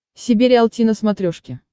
себе риалти на смотрешке